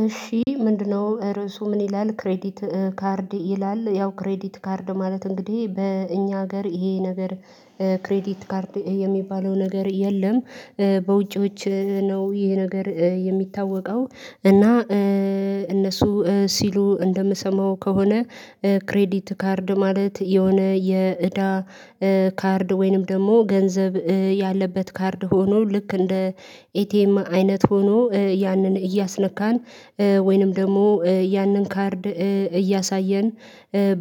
እሺ ምንድነው ርዕሱ ምን ይላል? ክሬዲት ካርድ ይላል ያው ክሬዲት ካርድ ማለት እንግዲህ በእኛ ሀገር ይሄ ነገር ክሬዲት ካርድ የሚባለው ነገር የለም። በውጪዎች ነው ይሄ ነገር የሚታወቀው እና እነሱ ሲሉ እንደምሰማው ከሆነ ክሬዲት ካርድ ማለት የሆነ የእዳ ካርድ ወይንም ደግሞ ገንዘብ ያለበት ካርድ ሆኖ ልክ እንደ ኤቲኤም አይነት ሆኖ ያንን እያስነካን ወይንም ደግሞ ያንን ካርድ እያሳየን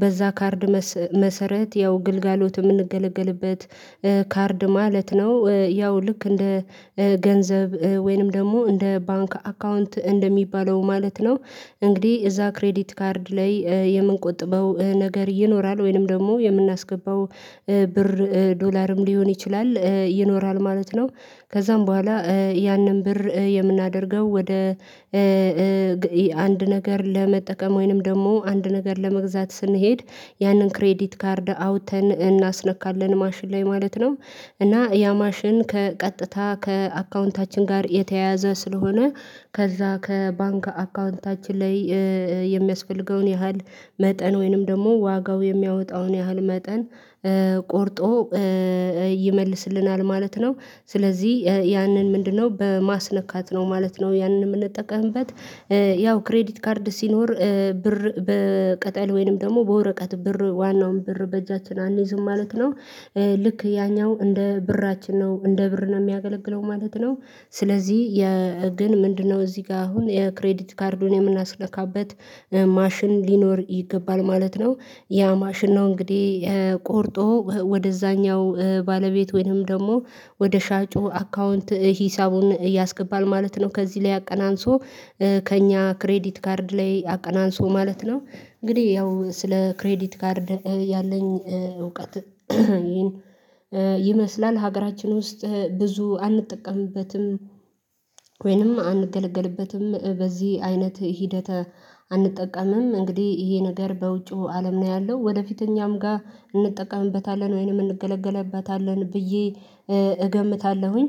በዛ ካርድ መሰረት ያው ግልጋሎት የምንገለገልበት ካርድ ማለት ነው ያው ልክ እንደ ገንዘብ ወይንም ደግሞ እንደ ባንክ አካውንት እንደሚባለው ማለት ነው። እንግዲህ እዛ ክሬዲት ካርድ ላይ የምንቆጥበው ነገር ይኖራል ወይንም ደግሞ የምናስገባው ብር ዶላርም ሊሆን ይችላል ይኖራል ማለት ነው። ከዛም በኋላ ያንን ብር የምናደርገው ወደ አንድ ነገር ለመጠቀም ወይንም ደግሞ አንድ ነገር ለመግዛት ስንሄድ ያንን ክሬዲት ካርድ አውጥተን እናስነካለን ማሽን ላይ ማለት ነው። እና ያ ማሽን ከቀጥታ ከአካውንታችን ጋር የተያያዘ ስለሆነ ከዛ ከባንክ አካውንታችን ላይ የሚያስፈልገውን ያህል መጠን ወይንም ደግሞ ዋጋው የሚያወጣውን ያህል መጠን ቆርጦ ይመልስልናል ማለት ነው። ስለዚህ ያንን ምንድነው በማስነካት ነው ማለት ነው። ያንን የምንጠቀምበት ያው ክሬዲት ካርድ ሲኖር ብር በቅጠል ወይንም ደግሞ በወረቀት ብር ዋናውን ብር በእጃችን አንይዝም ማለት ነው። ልክ ያኛው እንደ ብራችን ነው እንደ ብር ነው የሚያገለግለው ማለት ነው። ስለዚህ የ ግን ምንድነው እዚህ ጋር አሁን የክሬዲት ካርዱን የምናስለካበት ማሽን ሊኖር ይገባል ማለት ነው። ያ ማሽን ነው እንግዲህ ቆርጦ ወደዛኛው ባለቤት ወይንም ደግሞ ወደ ሻጩ አካውንት ሂሳቡን ያስገባል ማለት ነው ከዚህ ላይ አቀናንሶ ከእኛ ክሬዲት ካርድ ላይ አቀናንሶ ማለት ነው። እንግዲህ ያው ስለ ክሬዲት ካርድ ያለኝ እውቀት ይሄን ይመስላል ሀገራችን ውስጥ ብዙ አንጠቀምበትም። ወይንም አንገለገልበትም በዚህ አይነት ሂደተ አንጠቀምም እንግዲህ ይሄ ነገር በውጪው አለም ነው ያለው ወደፊት እኛም ጋር እንጠቀምበታለን ወይንም እንገለገልበታለን ብዬ እገምታለሁኝ።